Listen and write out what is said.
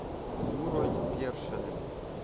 юрой першиным